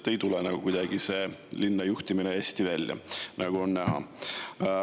Kuidagi ei tule see linna juhtimine hästi välja, nagu on näha.